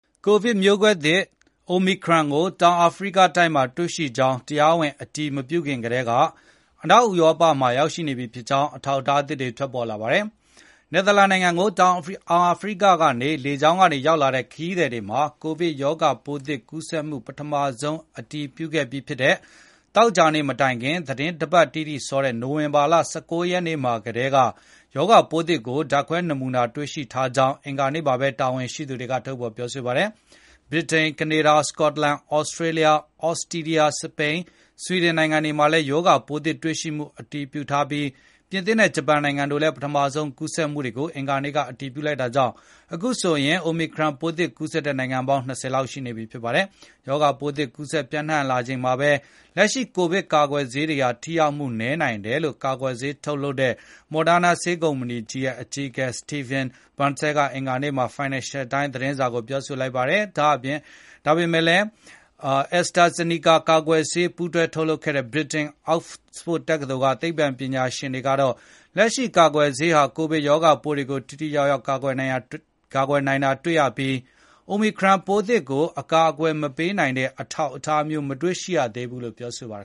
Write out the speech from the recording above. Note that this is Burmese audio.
ကိုဗစ်မျိုးကွဲသစ် Omicron ကို တောင်အာဖရိကမှာ တွေ့ရှိကြောင်း တရားဝင် အတည်မပြုခင်ကတည်းက အနောက်ဥရောပမှာ ရောက်ရှိနေပြီဖြစ်ကြောင်း အထောက်အထားသစ်တွေ ထွက်ပေါ်လာပါတယ်။ နယ်သာလန်နိုင်ငံကို တောင်အာဖရိကကနေ လေကြောင်းက ရောက်လာတဲ့ ခရီးသည်တွေမှာ ရောဂါပိုးသစ် ကူးစက်မှု ပထမဆုံး အတည်ပြုခဲ့တဲ့ ပြီးခဲ့တဲ့ သောကြာနေ့ မတိုင်ခင် သီတင်းတပတ်တိတိစောတဲ့ နိုဝင်ဘာလ ၁၉ ရက်နေ့မှာ ကတည်းက ရောဂါပိုးသစ်ကို ဓာတ်ခွဲနမူနာတွေမှာ တွေ့ရှိထားကြောင်း အင်္ဂါနေ့မှာပဲ တာဝန်ရှိသူတွေ ပြောဆိုခဲ့ကြတာပါ။ ဗြိတိန်၊ ကနေဒါ၊ စကော့တလန်၊ သြစတြေးလျ၊ သြစတြီးယား၊ စပိန်၊ ဆွီဒင်နိုင်ငံတွေမှာလည်း ရောဂါပိုးသစ် တွေ့ရှိမှု အတည်ပြုထားပြီး ပြင်သစ်နဲ့ ဂျပန်နိုင်ငံတို့ကလည်း ပထမဆုံး ကူးစက်မှုတွေကို အင်္ဂါနေ့က အတည်ပြုလိုက်တာကြောင့် အခုဆိုရင် Omicron ပိုးသစ်ကူးစက်တဲ့ နိုင်ငံပေါင်း ၂၀ လောက် ရှိနေပါပြီ။ ရောဂါပိုးသစ် ကူးစက်မှုတွေ ပျံ့နှံ့လာနေချိန်မှာပဲ လက်ရှိကိုဗစ်ကာကွယ်ဆေးတွေဟာ ထိရောက်မှု နည်းနိုင်တယ်လို့လည်း ကာကွယ်ဆေးထုတ်လုပ်တဲ့ Moderna ဆေးကုမ္ပဏီရဲ့ အကြီးအကဲ Stephane Bancel က အင်္ဂါနေ့မှာပဲ Financial Times သတင်းစာကို ပြောလိုက်ပါတယ်။ AstraZeneca ကာကွယ်ဆေး ပူးတွဲ ထုတ်လုပ်တဲ့ ဗြိတိန် Oxford တက္ကသိုလ်က သိပ္ပံပညာရှင်တွေကတော့ လက်ရှိကာကွယ်ဆေးတွေဟာ ကိုဗစ်ရောဂါပိုးတွေကို ထိထိရောက်ရောက် ကာကွယ်နိုင်တာ တွေ့ရပြီး Omicron ပိုးသစ်ကို အကာအကွယ် မပေးနိုင်တဲ့ အထောက်အထားမျိုး မတွေ့ရသေးဘူးလို့ ပြောပါတယ